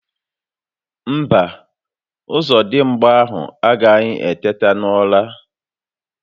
Mba, Ọzọdimgba ahụ agaghi eteta n'ụra